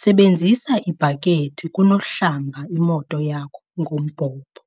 Sebenzisa ibhakethi kunokuhlamba imoto yakho ngombhobho.